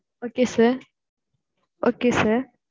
okay sir okay sir